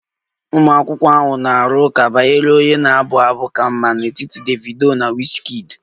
Ụmụ akwụkwọ ahụ na-arụ ụka banyere onye na-abụ abụ ka mma n'etiti Davido na wizkid